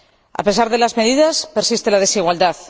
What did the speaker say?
A pesar de las medidas, persiste la desigualdad.